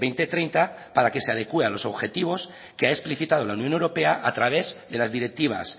dos mil treinta para que se adecúe a los objetivos que ha explicitado la unión europea a través de las directivas